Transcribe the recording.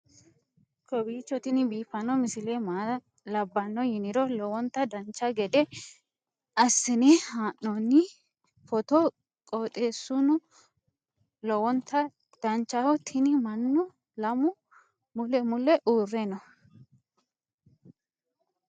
kowiicho tini biiffanno misile maa labbanno yiniro lowonta dancha gede assine haa'noonni foototi qoxeessuno lowonta danachaho. tini mannu lamu mule mule uurre no